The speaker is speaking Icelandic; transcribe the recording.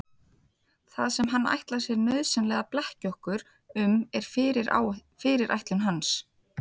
Það sem hann ætlar sér nauðsynlega að blekkja okkur um er fyrirætlun hans.